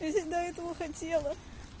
я здесь до этого хотела